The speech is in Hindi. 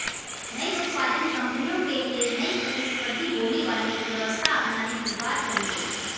नई उत्पादन कंपनियों के लिए नई प्रतिस्पर्धी बोली वाली व्यवस्था अपनाने की बात कही गई